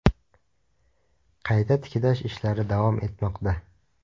Qayta tiklash ishlari davom etmoqda.